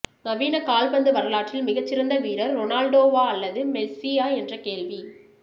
நவீன கால்பந்து வரலாற்றில் மிகச்சிறந்த வீரர் ரொனால்டோவா அல்லது மெஸ்ஸியா என்ற கேள்வி